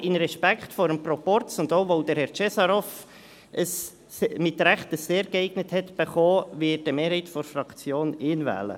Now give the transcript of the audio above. Aber aus Respekt vor dem Proporz und auch, weil Herr Cesarov zu Recht ein «sehr geeignet» erhalten hat, wird eine Mehrheit der Fraktion ihn wählen.